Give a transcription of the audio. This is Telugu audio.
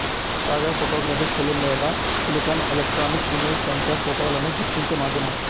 కాగా ఫోటోగ్రఫిక్ ఫిలిం లేదా సిలికాన్ ఎలెక్ట్రానిక్ ఇమేజ్ సెన్సర్ ఫోటోలను గుర్తించే మాధ్యమం